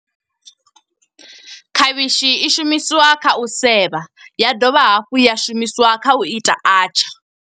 Khavhishi i shumisiwa kha u sevha, ya dovha hafhu ya shumisiwa kha u ita atchaar.